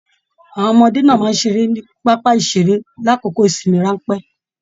Àwọn ọmọdé náà máa n ṣeré ni pápá iṣere l'akoko ìsinmi ranpẹ̀